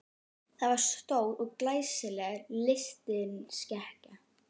Það var stór og glæsileg lystisnekkja.